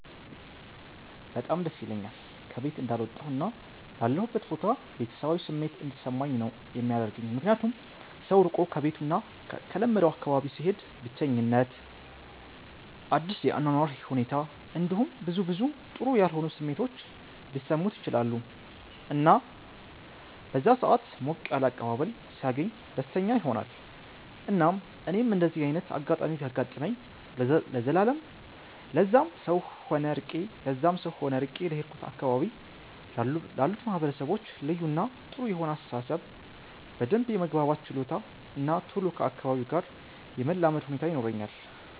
በጣም ደስ ይለኛል ከ ቤት እንዳልወጣሁ እና ላለሁበት ቦታ ቤተሰባዊ ስሜት እንዲሰማኝ ነው የሚያደርገኝ ምክንያቱም ሰው ርቆ ከቤቱ እና ከለመደው አካባቢ ሲሄድ ብቸኝት፣ አዲስ የ አኗኗር ሁኔት እንዲሁም ብዙ ብዙ ጥሩ ያልሆኑ ስሜቶች ሊሰሙት ይችላሉ እና በዛ ሰአት ሞቅ ያለ አቀባበል ሲያገኝ ደስተኛ ይሆናል እና እኔም እንደዚ አይነት አጋጣሚ ቢያጋጥመኝ ለዛም ሰው ሆነ ርቄ ለሄድኩበት አካባቢ ላሉት ማህበረሰቦች ልዩ እና ጥሩ የሆነ አስተሳሰብ፣ በደንብ የመግባባት ችሎታ እና ቶሎ ከ አካባቢው ጋር የመላመድ ሁኔታ ይኖረኛል።